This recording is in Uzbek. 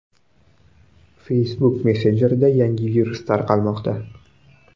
Facebook messenjerida yangi virus tarqalmoqda.